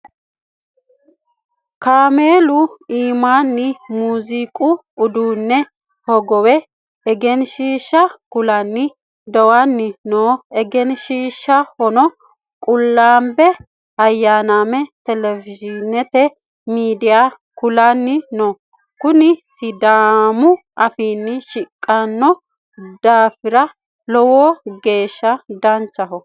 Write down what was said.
Kaameelu iimaanni muuziiqu uduunne hogowe egenshiisha kulanni dowanni no egenshiishuno qullambe ayanaame telewishiinete miidiya kulanni no kunni sidaamu afiinni shiqinshanni daafara lowo geesha baxisano.